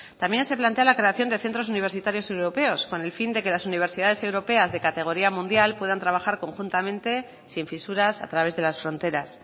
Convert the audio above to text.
también se plantea la creación de centros universitarios europeos con el fin de que las universidades europeas de categoría mundial puedan trabajar conjuntamente sin fisuras a través de las fronteras